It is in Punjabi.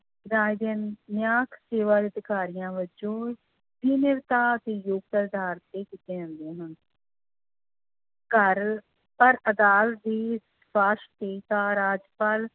ਰਾਜ ਨਿਆਂਇਕ ਅਧਿਕਾਰੀਆਂ ਵਜੋਂ ਤੇ ਯੋਗਤਾ ਦੇ ਅਧਾਰ ਤੇ ਕੀਤੀਆਂ ਜਾਂਦੀਆਂ ਹਨ ਘਰ ਪਰ ਅਦਾਲਤ ਦੀ ਰਾਜਪਾਲ